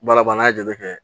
Baara ba n'a ye jateminɛ kɛ